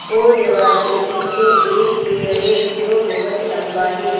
और दीवार के पीछे एक पेड़ है जो बहोत लम्बा है।